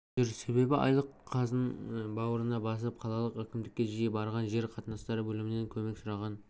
жүр себебі айлық қызын бауырына басып қалалық әкімдікке жиі барған жер қатынастары бөлімінен көмек сұраған